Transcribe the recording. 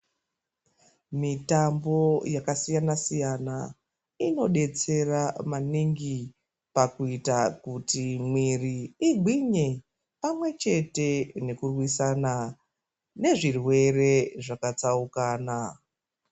Mitambo yakasiyana siyana inodetsera maningi pakuita kuti mwiri igwinye pamwe chete nekurwisana nezvirwere zvakatsaukana.